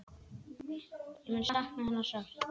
Ég mun sakna hennar sárt.